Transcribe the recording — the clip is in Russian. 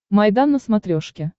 майдан на смотрешке